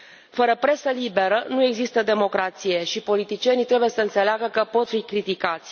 Fără presă liberă, nu există democrație și politicienii trebuie să înțeleagă că pot fi criticați.